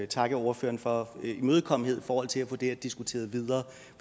takke ordføreren for imødekommenheden i forhold til at få det her diskuteret videre